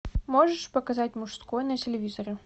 можешь показать мужской на телевизоре